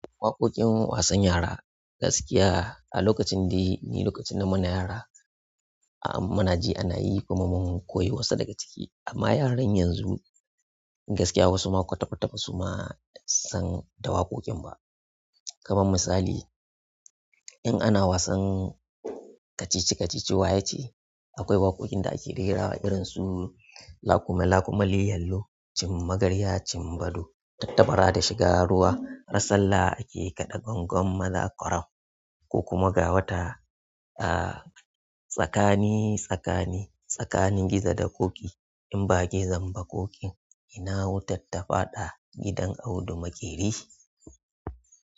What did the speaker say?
Waƙoƙin wasan yara gaskiya a lokacin dai ni lokacin na mana yara a mana ji ana yi kuma mun koyi wasu daga ciki amma yaran yanzu gaskiya wasu ma kwata kwata ba su ma san da waƙoƙin ba. Kamar misali in ana wasan kacici-kacici wayace akwai waƙoƙin da ake rerawa irin su; "Lakuma lakuma li yallo, cin magarya cin bado, tatta bara da shiga ruwa, rarsalla ake kaɗa gongon maza kwarab, ko kuma gawata, a tsakani tsakani tsakanin gizo da ƙoƙi in ba gizan ba ƙoƙin ina wutar tafada gidan Audu Makeri".